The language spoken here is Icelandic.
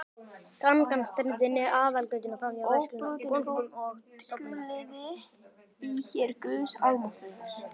Gangan streymdi niður aðalgötuna, framhjá verslunum, bönkum og stofnunum.